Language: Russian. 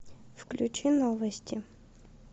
включи новости